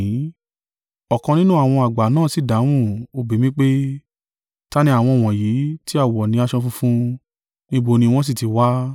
Ọ̀kan nínú àwọn àgbà náà si dáhùn, ó bi mí pé, “Ta ni àwọn wọ̀nyí tí a wọ ni aṣọ funfun? Níbo ni wọn sì ti wá?”